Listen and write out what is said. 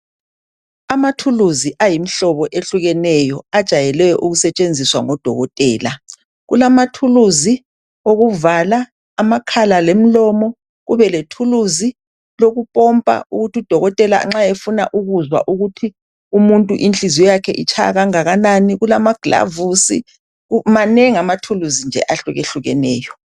Amathuluzi ayimhlobo etshiyeneyo ajayelwe ukusebenziswa ngodokotela. Kulamathuluzi okuvala amakhala lemlomo kube lethuluzi lokupompa ukuthi udokotela nxa efuna ukuzwa ukuthi umuntu inhliziyo yakhe itshaya kangakanani kulamaglavusi amanengi amathuluzi ehlukehlukeneyo.